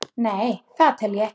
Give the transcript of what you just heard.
Nei, það tel ég ekki.